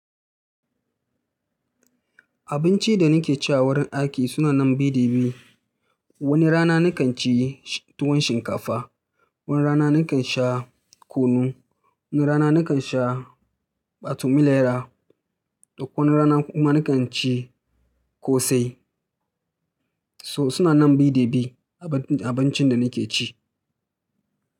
Abincin da nake ci a wurin aiki suna nan bi da bi. Wani rana nakan ci tuwon shinkafa, wani rana nakan sha kunu, na rana nakan sha ɓatumilaya da wani rana kuma nakan ci kosai. So suna nan bi da bi abincin da nake ci.